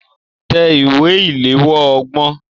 Tẹ ìwé ìléwọ́ ọgbọ̀n.